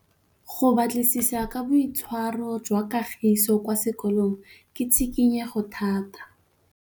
Go batlisisa ka boitshwaro jwa Kagiso kwa sekolong ke tshikinyêgô tota.